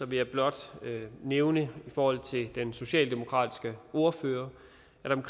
vil jeg blot nævne i forhold til det den socialdemokratiske ordfører